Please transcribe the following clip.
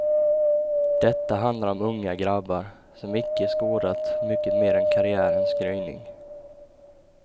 Detta handlar om unga grabbar, som icke skådat mycket mer än karriärens gryning.